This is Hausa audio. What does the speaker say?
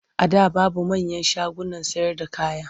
A da babu manyan shagunan sayarda kaya.